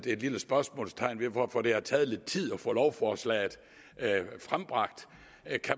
et lille spørgsmålstegn ved hvorfor det har taget lidt tid at få lovforslaget frembragt